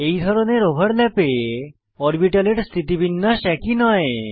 এই ধরনের ওভারল্যাপে অরবিটালের স্থিতিবিন্যাস একই নয়